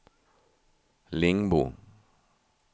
Lingbo